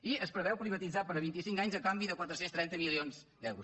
i es preveu privatitzar per vint i cinc anys a canvi de quatre cents i trenta milions d’euros